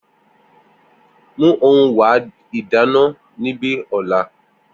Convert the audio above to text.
Mu ohun wa ìdáná nibi ola